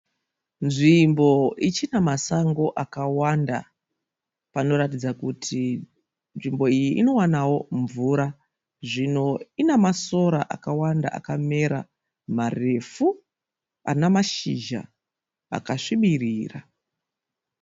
Nzvimbo ichina masango akawanda. Panoratidza kuti nzvimbo iyi inowanawo mvura. Nzvimbo ina masora akawanda akamera marefu ana mashizha akasvibirira.